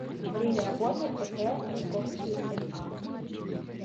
время работы ип васковский ма